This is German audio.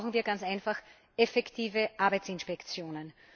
Dazu brauchen wir ganz einfach effektive Arbeitsinspektionen.